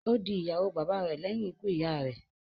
Ó di ìyàwó bàba rè lẹ́yìn ikú ìyá a rẹ̀.